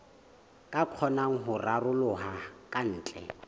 ka kgonang ho raroloha kantle